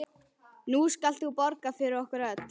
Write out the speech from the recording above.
Nú skalt þú borga fyrir okkur öll.